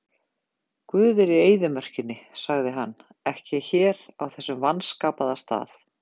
Guð er í eyðimörkinni, sagði hann, ekki hér á þessum vanskapaða stað.